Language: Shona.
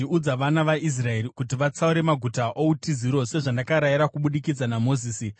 “Udza vana vaIsraeri kuti vatsaure maguta outiziro, sezvandakarayira kubudikidza naMozisi,